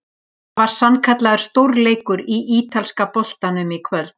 Það var sannkallaður stórleikur í ítalska boltanum í kvöld!